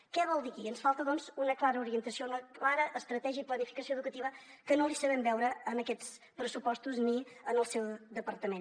què vol dir aquí ens falta una clara orientació una clara estratègia i planificació educativa que no l’hi sabem veure en aquests pressupostos ni en el seu departament